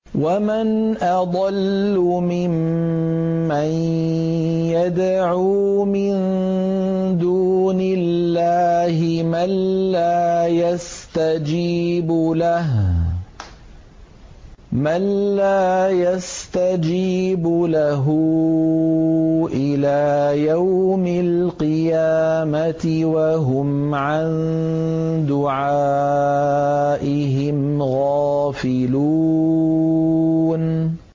وَمَنْ أَضَلُّ مِمَّن يَدْعُو مِن دُونِ اللَّهِ مَن لَّا يَسْتَجِيبُ لَهُ إِلَىٰ يَوْمِ الْقِيَامَةِ وَهُمْ عَن دُعَائِهِمْ غَافِلُونَ